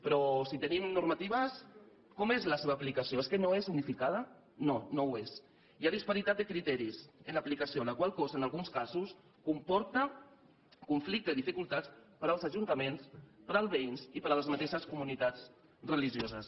però si tenim normatives com és la seva aplicació és que no és unificada no no ho és hi ha disparitat de criteris en l’aplicació la qual cosa en alguns casos comporta conflicte i dificultats per als ajuntaments per als veïns i per a les mateixes comunitats religioses